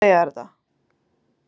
Ég hefði ekki átt að segja þér þetta.